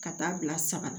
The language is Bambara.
Ka taa bila saga la